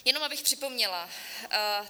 Jenom abych připomněla.